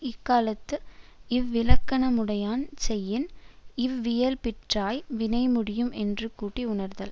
இக்காலத்து இவ்விலக்கணமுடையான் செய்யின் இவ்வியல்பிற்றாய வினை முடியும் என்று கூட்டி உணர்தல்